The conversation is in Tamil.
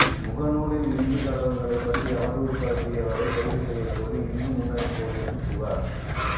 முகநூலில் இந்து கடவுள்களை பற்றி அவதூறு பரப்பிய வரை கைது செய்யக் கோரி இந்து முன்னணி போலீசில் புகார்